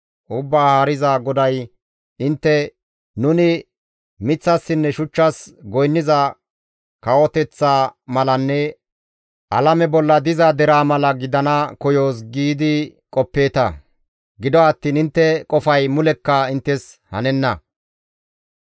Ubbaa Haariza GODAY, «Intte, ‹Nuni miththassinne shuchchas goynniza kawoteththa malanne alame bolla diza deraa mala gidana koyoos› giidi qoppeeta. Gido attiin intte qofay mulekka inttes hanenna.